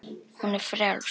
Hún er frjáls.